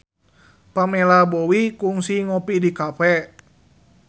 Pamela Bowie kungsi ngopi di cafe